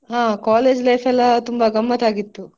ಹಾ college life ಎಲ್ಲಾ ತುಂಬಾ ಗಮ್ಮತ್ತಾಗಿತ್ತು.